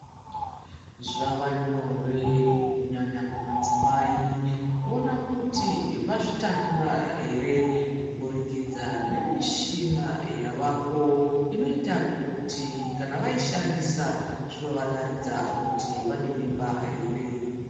Zvava nyore kunyanya kumadzimai kuona kuti vazvitakura here kuburikidza nemishina yavako inoita kuti kana vaishandisa inovataridza kuti vane mimba here.